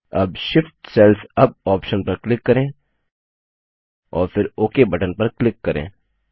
अब Shift cells UP option पर click करें और फिर ओक बटन पर क्लिक करें